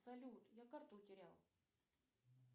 салют я карту утерял